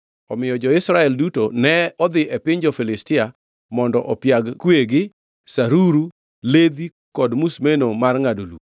Omiyo jo-Israel duto ne odhi e piny jo-Filistia mondo opiag kuegi, saruru, ledhi kod musmeno mar ngʼado lum.